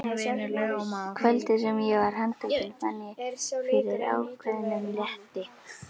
Kvöldið sem ég var handtekinn fann ég fyrir ákveðnum létti.